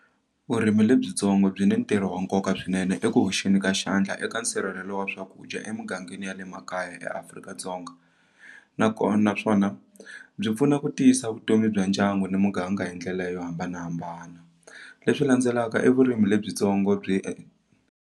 Vurimi lebyitsongo byi ni ntirho wa nkoka swinene eku hoxeni ka xandla eka nsirhelelo wa swakudya emingangeni ya le makaya eAfrika-Dzonga nakona naswona byi pfuna ku tiyisa vutomi bya ndyangu ni muganga hi ndlela yo hambanahambana leswi landzelaka i vurimi lebyitsongo byi.